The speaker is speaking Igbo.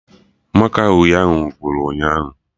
Màkà uhie ahụ gwụrụ ụnyaahụ